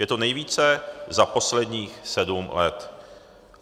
Je to nejvíce za posledních sedm let.